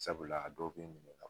Sabula a dɔ bɛ ɲininka